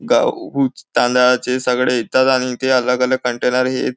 गाव उच तांदळाचे सगळे येतात आणि इथे अलग अलग कंटेनर हेत--